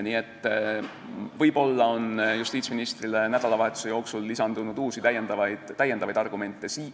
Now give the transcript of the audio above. Nii et võib-olla on justiitsministrile nädalavahetuse jooksul lisandunud uusi argumente.